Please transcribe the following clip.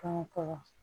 Kɔngɔ kɔkɔ